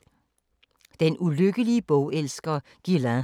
Den ulykkelige bogelsker Guylain